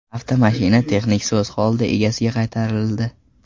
Avtomashina texnik soz holda egasiga qaytarildi.